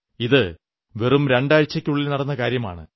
ഇത് വെറും രണ്ടാഴ്ചയ്ക്കുള്ളിൽ നടന്ന കാര്യമാണ്